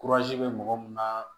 bɛ mɔgɔ mun na